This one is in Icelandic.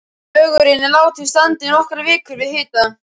Lögurinn er látinn standa í nokkrar vikur við hita.